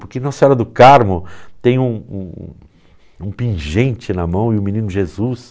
Por que Nossa Senhora do Carmo tem um um um um pingente na mão e o menino Jesus?